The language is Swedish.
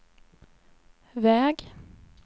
väg